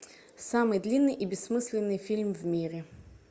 самый длинный и бессмысленный фильм в мире